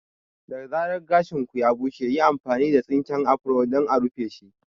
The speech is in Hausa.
Da zarar gashin ku ya bushe, yi amfani da tsinken afro don a rufeshi.